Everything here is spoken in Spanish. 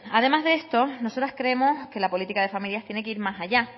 además de esto nosotras creemos que las políticas de familia tienen que ir más allá